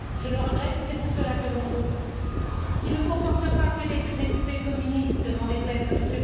Je le regrette et c'est pour cela que mon groupe, qui ne comporte pas que des députés communistes, n'en déplaise à M.